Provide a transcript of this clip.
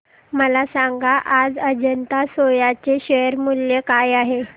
मला सांगा आज अजंता सोया चे शेअर मूल्य काय आहे